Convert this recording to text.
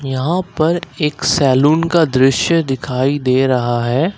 यहां पर एक सैलून का दृश्य दिखाई दे रहा है।